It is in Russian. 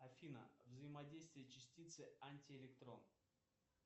афина взаимодействие частицы антиэлектрон